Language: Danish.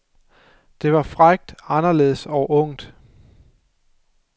Det var frækt, anderledes og ungt.